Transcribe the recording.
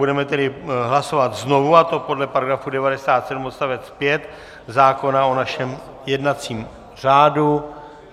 Budeme tedy hlasovat znovu, a to podle § 97 odst. 5 zákona o našem jednacím řádu.